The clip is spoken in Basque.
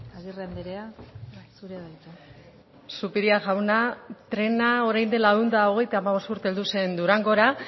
agirre andrea zurea da hitza zupiria jauna trena orain dela ehun eta hogeita hamabost urte heldu zen durangora